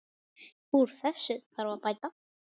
Úr þessu þarf að bæta.